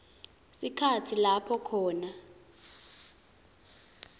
sikhatsi lapho khona